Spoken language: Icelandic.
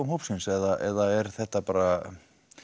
hóps eða er þetta bara